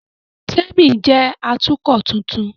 Témi jẹ́ Atukọ̀ tuntun